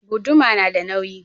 Guduma nada nauyi.